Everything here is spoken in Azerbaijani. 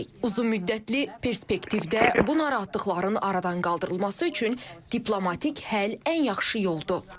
Uzunmüddətli perspektivdə bu narahatlıqların aradan qaldırılması üçün diplomatik həll ən yaxşı yoldur.